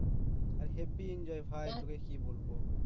আর habby enjoy ভাই তোকে কি বলব